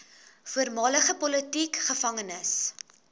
voormalige politieke gevangenes